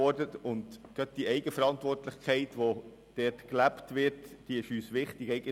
Gerade die Eigenverantwortlichkeit, die in KMU gelebt wird, ist uns wichtig.